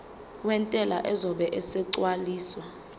wentela uzobe esegcwalisa